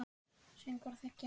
Söngvar þegja.